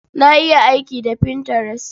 Na iya aiki da Pinterest.